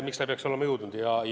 Miks ta ei oleks pidanud jõudma.